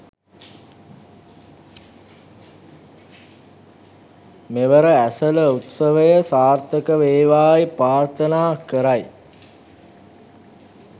මෙවර ඇසළ උත්සවය සාර්ථක වේවායි ප්‍රාර්ථනා කරයි